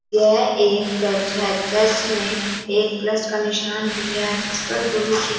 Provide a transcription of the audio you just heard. यह एक चर्च है चर्च में एक प्लस का निशान भी हैं जिस पर गुरु जी--